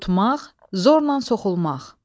Tutmaq, zorla soxulmaq.